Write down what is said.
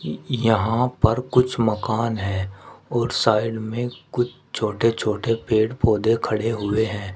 यहां पर कुछ मकान है और साइड में कुछ छोटे छोटे पेड़ पौधे खड़े हुए हैं।